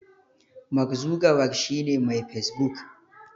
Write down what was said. Mark Zuckerberg shi ne Mai Facebook.